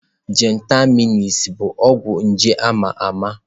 Gentamaịsin bụ ọgwụ nje a ma ama.